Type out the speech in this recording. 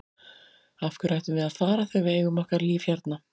Af hverju ættum við að fara þegar við eigum okkar líf hérna?